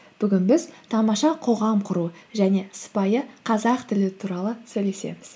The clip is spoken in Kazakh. бүгін біз тамаша қоғам құру және сыпайы қазақ тілі туралы сөйлесеміз